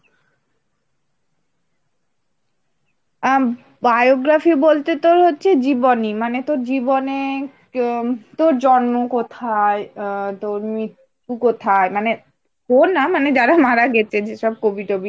আ biography বলতে তোর হচ্ছে জীবনী মানে তোর জীবনে তোর জন্ম কোথায়? আ তোর মৃত্যু কোথায়? মানে তোর না মানে যারা মারা গেছে যেসব কবি টবি।